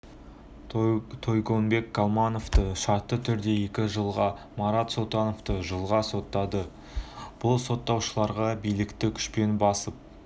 тойгонбек калматовты шартты түрде екі жылға марат султановты жылға соттады бұл сотталушыларға билікті күшпен басып